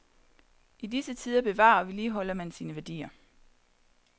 I disse tider bevarer og vedligeholder man sine værdier.